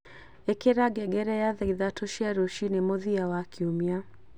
ikira ngengere ya thaa ithatu cia ruciini mũthia wa kiumia